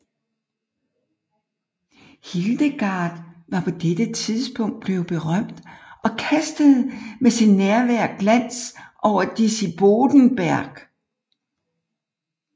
Hildegard var på dette tidspunkt blevet berømt og kastede med sit nærvær glans over Disibodenberg